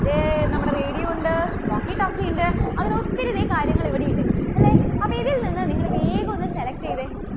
ദേ നമ്മുടെ radio ഉണ്ട്, walkie talkie ഉണ്ട്, അങ്ങനെ ഒത്തിരി അധികം കാര്യങ്ങൾ ഇവിടെ ഉണ്ട്. അല്ലേ. അപ്പോൾ ഇതിൽ നിന്ന് നിങ്ങൾ വേഗം ഒന്ന് select ചെയ്തേ.